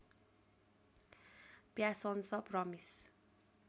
passions promise